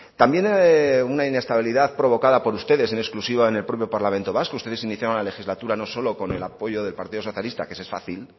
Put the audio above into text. también una inestabilidad provocada por ustedes en exclusiva en el propio parlamento vasco ustedes iniciaban la legislatura no solo con el apoyo del partido socialista que ese es fácil